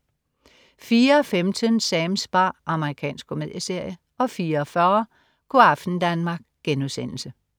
04.15 Sams bar. Amerikansk komedieserie 04.40 Go' aften Danmark*